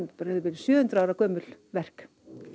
sjö hundruð ára gömul verk